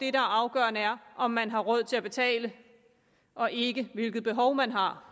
er afgørende er om man har råd til at betale og ikke hvilket behov man har